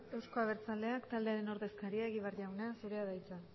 euzko abertzaleak taldearen ordezkaria egibar jauna zurea da hitza